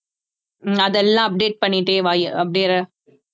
அதெல்லாம் update பண்ணிட்டே வா